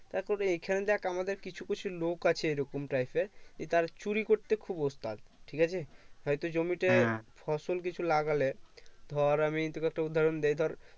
তারপরে এইখানে দেখ আমাদের কিছু কিছু লোক আছে এই রকম type র যে তারা চুরি করতে খুব ওস্তাদ ঠিক আছে হয় তো জমিতে ফসল কিছু লাগালে ধর আমি তোকে একটু উদহারণ দেই ধর